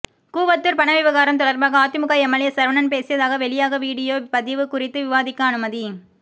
கூவத்தூர் பண விவகாரம் தொடர்பாக அதிமுக எம்எல்ஏ சரவணன் பேசியதாக வெளியாக வீடியோ பதிவு குறித்து விவாதிக்க அனுமதி